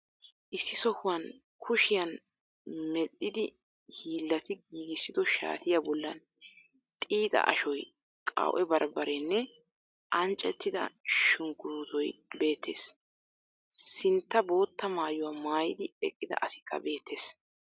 Issi sohuwan kushiyan medhdhidi hiillati giggissiddo shaatiya bollan xiixxa ashoy, qaw'e barbbareenne anccettida shunkkurutoy beettees. Sintta boottaa maayuwa maayidi eqqida asikka beettees.